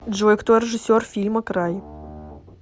джой кто режиссер фильма край